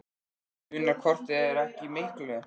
Það munar hvort eð er ekki miklu.